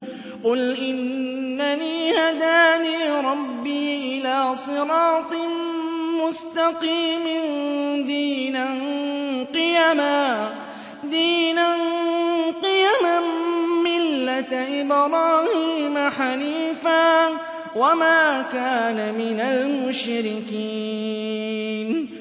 قُلْ إِنَّنِي هَدَانِي رَبِّي إِلَىٰ صِرَاطٍ مُّسْتَقِيمٍ دِينًا قِيَمًا مِّلَّةَ إِبْرَاهِيمَ حَنِيفًا ۚ وَمَا كَانَ مِنَ الْمُشْرِكِينَ